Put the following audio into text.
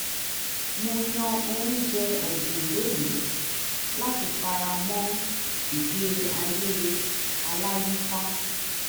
mo yàn oúnjẹ ọ̀gbìn lónìí láti fara mọ́ ìgbé ayé aláyíká